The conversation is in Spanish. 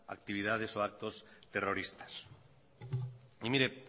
actividades o actos terroristas y mire